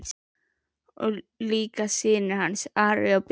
Og líka synir hans, Ari og Björn.